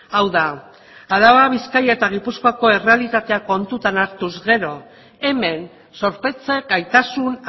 hau da araba bizkaia eta gipuzkoako errealitatea kontuan hartuz gero hemen zorpetze gaitasun